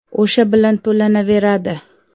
O‘sha bilan to‘lanaveradi.